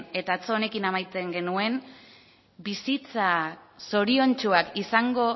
eta atzo honekin amaitzen genuen bizitza zoriontsuak izango